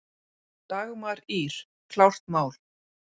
Dagmar Ýr, klárt mál!